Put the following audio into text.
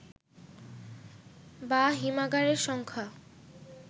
বা হিমাগারের সংখ্যা